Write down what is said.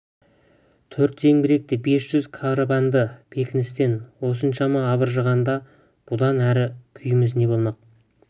төрт зеңбіректі бес жүз карабінді бекіністен осыншама абыржығанда бұдан әрі күйіміз не болмақ